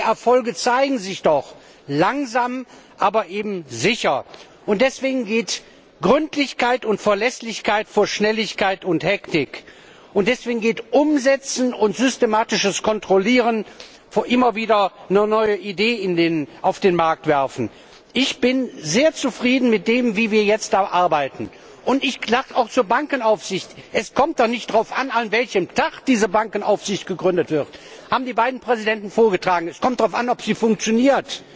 Die Erfolge zeigen sich doch, langsam, aber eben sicher. Deswegen geht Gründlichkeit und Verlässlichkeit vor Schnelligkeit und Hektik. Deswegen ist die Umsetzung und systematische Kontrolle besser als immer wieder nur neue Ideen auf den Markt zu werfen. Ich bin sehr zufrieden damit, wie wir jetzt arbeiten. Und ich sage auch zur Bankenaufsicht Es kommt doch nicht darauf an, an welchem Tag diese Bankenaufsicht eingeführt wird, wie die beiden Präsidenten vorgetragen haben. Es kommt darauf an, ob sie funktioniert.